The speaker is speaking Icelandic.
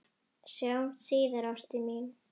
Sjáumst síðar, ástin mín.